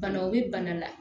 Bana o bɛ bana la